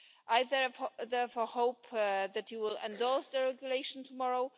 I, therefore, hope that you will endorse the regulation tomorrow.